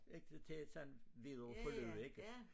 Ikke til at sådan videre forløb ikke